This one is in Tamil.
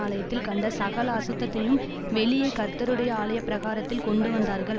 ஆலயத்தில் கண்ட சகல அசுத்தத்தையும் வெளியே கர்த்தருடைய ஆலய பிரகாரத்தில் கொண்டுவந்தார்கள்